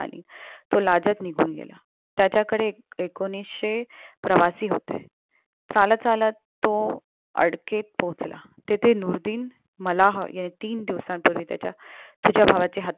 तो लाजत निघून गेला त्याच्याकडे एकोणीसशे प्रवासी होते चालत चालत तो अडकेत पोहोचला तेथे नुआरदि मलहं याने तीन दिवसांपूर्वी त्याच्या तुझ्या भावाची हत्या